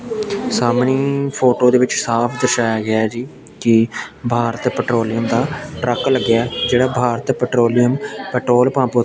ਸਾਹਮਣੀ photo ਦੇ ਵਿੱਚ ਸਾਫ ਦਰਸ਼ਾਇਆ ਗਿਆ ਜੀ ਕਿ ਭਾਰਤ ਪੈਟਰੋਲੀਅਮ ਦਾ ਟਰੱਕ ਲੱਗਿਆ ਜਿਹੜਾ ਭਾਰਤ ਪੈਟਰੋਲੀਅਮ ਪੈਟਰੋਲ ਪੰਪ ਉੱਤੇ --